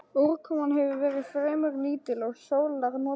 Úrkoman hefur verið fremur lítil og sólar notið vel.